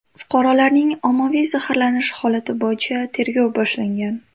Fuqarolarning ommaviy zaharlanishi holati bo‘yicha tergov boshlangan.